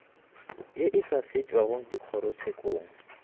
ye e sa fetšwago dikgorotshekong